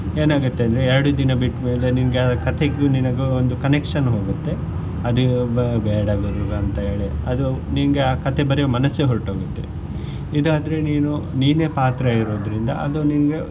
ಏನಾಗುತ್ತೆ ಅಂದ್ರೆ ಎರಡು ದಿನ ಬಿಟ್ಟ್ ಮೇಲೆ ನಿಮ್ಗೆ ಆ ಕಥೆಗೂ ನಿನ್ಗೂ ಒಂದು connection ಹೋಗುತ್ತೆ ಅದ್ ಬೇಡ ಬರಿಯುದು ಅಂತ ಹೇಳಿ ಅದು ನಿಂಗೆ ಆ ಕಥೆ ಬರೆಯುವ ಮನಸ್ಸೇ ಹೊರಟು ಹೋಗುತ್ತೆ ಇದ್ ಆದ್ರೆ ನೀನು ನೀನೆ ಪಾತ್ರ ಇರುದ್ರಿಂದ ಅದು ನಿಂಗೆ.